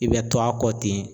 I bɛ to a kɔ ten